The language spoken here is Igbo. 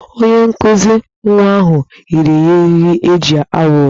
Onye nkụzi nwa ahụ nyere ya eriri eji awụ ụdọ.